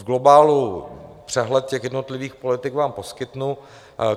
V globálu přehled těch jednotlivých politik vám poskytnu.